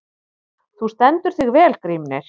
Þú stendur þig vel, Grímnir!